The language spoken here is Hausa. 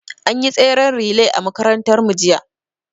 An yi tsaren relay a makarantar mu jiya